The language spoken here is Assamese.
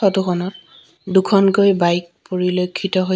ফটো খনত দুখনকৈ বাইক পৰিলক্ষিত হৈ--